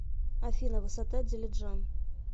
афина высота дилиджан